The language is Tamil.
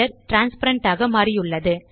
டிரான்ஸ்பேரன்ட் ஆக மாறியுள்ளது